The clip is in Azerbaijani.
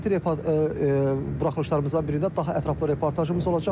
Növbəti buraxılışlarımızdan birində daha ətraflı reportajımız olacaq.